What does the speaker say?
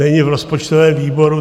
Není v rozpočtovém výboru.